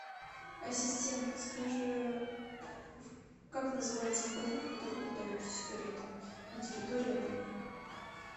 ассистент подскажи как называется магазин в котором продаются сигареты на территории отеля